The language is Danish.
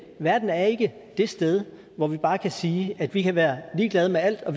verden er ikke det sted hvor vi bare kan sige at vi kan være ligeglade med alt og